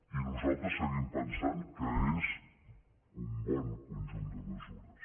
i nosaltres seguim pensant que és un bon conjunt de mesures